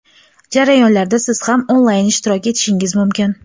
Jarayonlarda Siz ham onlayn ishtirok etishingiz mumkin.